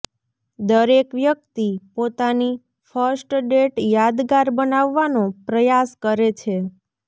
દરેક વ્યક્તિ પોતાની ફર્સ્ટ ડેટ યાદગાર બનાવવાનો પ્રયાસ કરે છે